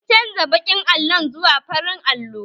An canza baƙin allon zuwa farin allo